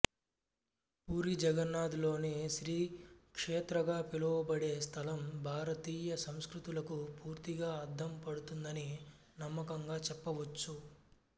పూరి జగన్నాథ్ లోని శ్రీక్షేత్రగా పిలవబడే స్థలం భారతీయ సంస్కృతులకు పూర్తిగా అద్దం పడుతుందని నమ్మకంగా చెప్పవచ్చు